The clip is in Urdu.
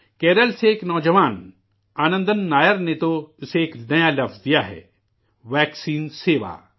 کیرالہ سے ایک نوجوان آنندن نائر نے تو اسے ایک نیا لفظ دیا ہے 'ویکسین سیوا'